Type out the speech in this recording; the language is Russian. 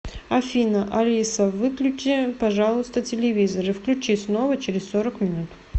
афина алиса выключи пожалуйста телевизор и включи снова через сорок минут